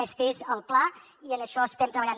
aquest és el pla i en això estem treballant